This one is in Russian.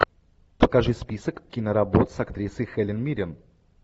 покажи список киноработ с актрисой хелен миррен